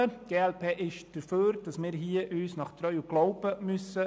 Die glp ist dafür, dass wir uns nach Treu und Glauben verhalten müssen.